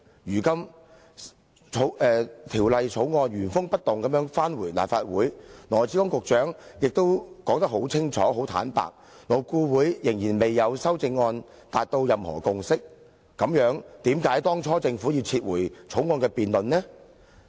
如今《條例草案》原封不動交回立法會，而羅致光局長又很清楚表示，勞顧會仍然未就修正案達至任何共識，那為何當初政府要把原訂進行辯論的《條例草案》撤回？